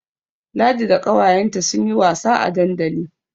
Ladi da ƙawayenta sun yi wasa a dandali.